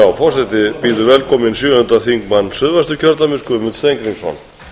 virðulegur forseti ég afsaka það að ég er seinn í